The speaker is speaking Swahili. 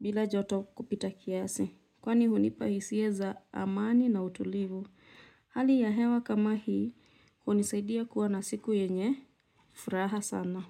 bila joto kupita kiasi. Kwani hunipa hisia za amani na utulivu. Hali ya hewa kama hii, hunisaidia kuwa na siku yenye, furaha sana.